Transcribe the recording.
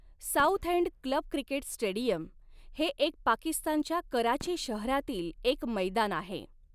Southend club cricket stadium हे एक पाकिस्तानच्या कराची शहरातील एक मैदान आहे.